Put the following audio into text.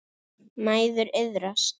Mæður iðrast.